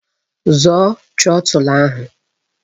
Zọọ trotul ahụ!